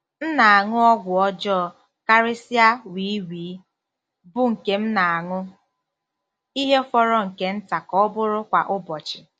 M na-aṅụ ọgwụ ọjọọ, karịsịa wii wii, bụ́ nke m na-aṅụ ihe fọrọ nke nta ka ọ bụrụ kwa ụbọchị.